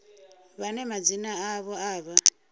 vhane madzina avho a vha